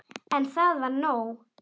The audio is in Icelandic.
En það var nóg.